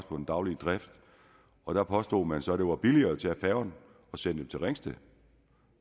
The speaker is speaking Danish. på den daglige drift og der påstod man så at det var billigere at tage færgen og sende det til ringsted